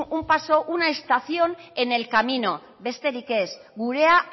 un paso una estación en el camino besterik ez gurea